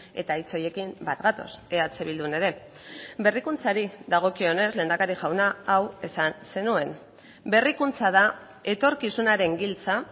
eta hitz horiekin bat gatoz eh bildun ere berrikuntzari dagokionez lehendakari jauna hau esan zenuen berrikuntza da etorkizunaren giltza